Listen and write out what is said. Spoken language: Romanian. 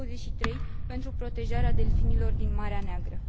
23 pentru protejarea delfinilor din Marea Neagră.